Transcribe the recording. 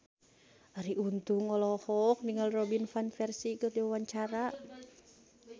Arie Untung olohok ningali Robin Van Persie keur diwawancara